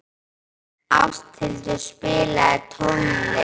Ásthildur, spilaðu tónlist.